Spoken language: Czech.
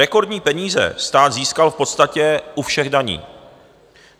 Rekordní peníze stát získal v podstatě u všech daní.